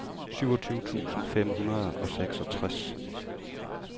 syvogtyve tusind fem hundrede og seksogtres